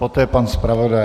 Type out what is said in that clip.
Poté pan zpravodaj.